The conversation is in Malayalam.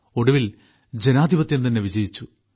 ഒടുവിൽ ജനാധിപത്യം തന്നെ വിജയിച്ചു